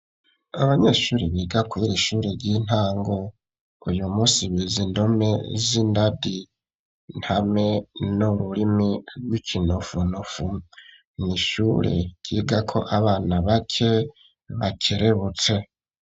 Abanyeshuri biga kurira shuri ry'intango uyu munsi bize indome z'indadi ntame n'uburimi bw'ikinofunofu n'ishure ryigako abana bake bakerebutse